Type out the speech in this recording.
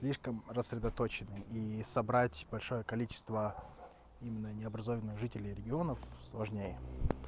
слишком рассредоточены и собрать большое количество именно необразованной жителей регионов сложнее